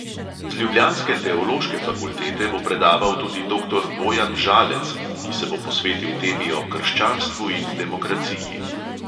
Z ljubljanske teološke fakultete bo predaval tudi doktor bojan žalec, ki se bo posvetil temi o krščanstvu in demokraciji.